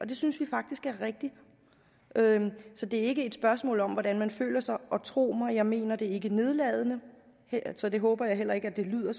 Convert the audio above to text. det synes vi faktisk er rigtigt så det er ikke et spørgsmål om hvordan man føler sig tro mig jeg mener det ikke nedladende så jeg håber heller ikke at det lyder